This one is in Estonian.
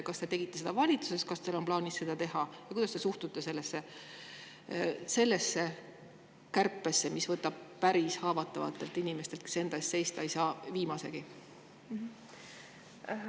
Kas te tegite seda valitsuses, kas teil on plaanis seda teha või kuidas te suhtute sellesse kärpesse, mis võtab väga haavatavatelt inimestelt, kes enda eest seista ei saa, viimasegi?